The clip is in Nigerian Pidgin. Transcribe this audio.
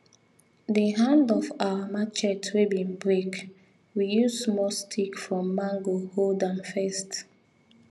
the hand of our marchet wey bin break we use small stick from mango hold am first